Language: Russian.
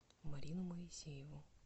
марину моисееву